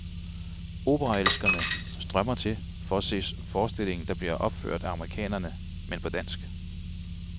Operaelskere strømmer til for se forestillingen, der bliver opført af amerikanere, men på dansk.